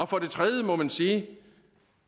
for det tredje må man sige